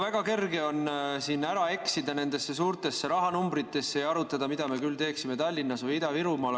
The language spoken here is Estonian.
Väga kerge on siin ära eksida nendesse suurtesse rahanumbritesse ja arutada, mida me küll teeksime Tallinnas või Ida-Virumaal.